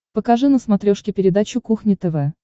покажи на смотрешке передачу кухня тв